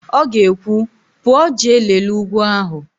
Ọ ga-ekwu, "pụọ jee lelee ugwu ahụ"!